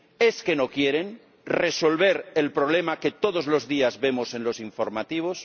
¿es que no quieren resolver el problema que todos los días vemos en los informativos?